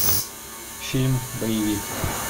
фильм боевик